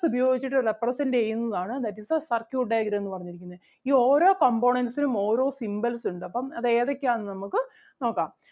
ഉപയോഗിച്ചിട്ട് represent ചെയ്യുന്നതാണ് that is the circuit diagram എന്ന് പറഞ്ഞിരിക്കുന്നേ. ഈ ഓരോ components നും ഓരോ symbols ഉണ്ട് അപ്പം അത് ഏതൊക്കെ ആണെന്ന് നമുക്ക് നോക്കാം